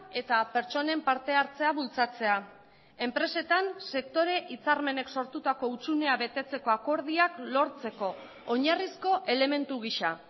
eta pertsonen parte hartzea bultzatzea enpresetan sektore hitzarmenek sortutako hutsunea betetzeko akordioak lortzeko oinarrizko elementu gisa